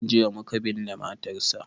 Jiya muka binne matarsa.